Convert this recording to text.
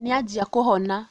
Nĩanjia kũhona